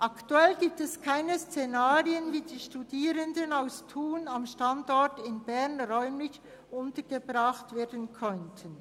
Aktuell gibt es keine Szenarien, wie die Studierenden aus Thun am Standort Bern räumlich untergebracht werden könnten.